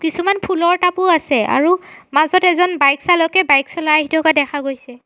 কিছুমান ফুলৰ টাবো আছে আৰু মাজত এজন বাইক চালকে বাইক চলাই আহি থকা দেখা গৈছে।